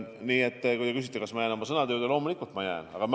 Nii et kui te küsite, kas ma jään oma sõnade juurde – loomulikult ma jään!